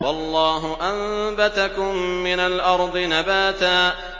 وَاللَّهُ أَنبَتَكُم مِّنَ الْأَرْضِ نَبَاتًا